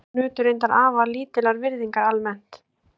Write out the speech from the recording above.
Konur nutu reyndar afar lítillar virðingar almennt.